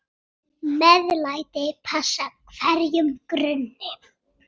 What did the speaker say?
MEÐLÆTI passar hverjum grunni.